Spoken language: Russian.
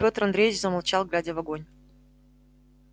пётр андреевич замолчал глядя в огонь